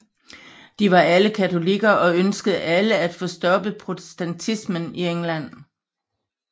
De var alle katolikker og ønskede alle at få stoppet protestantismen i England